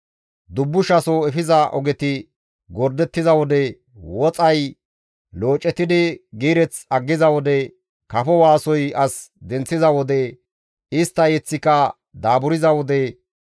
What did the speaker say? dubbushaso efiza ogeti gordettiza wode, woxay loocetidi giireth aggiza wode, kafo waasoy as denththiza wode, istta yeththika daaburza wode,